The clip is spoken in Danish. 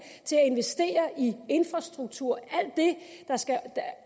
til at investere i infrastruktur